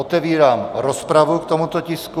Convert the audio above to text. Otevírám rozpravu k tomuto tisku.